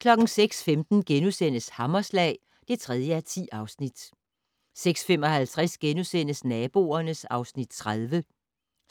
06:15: Hammerslag (3:10)* 06:55: Naboerne (Afs. 30)*